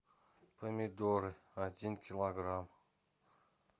помидоры один килограмм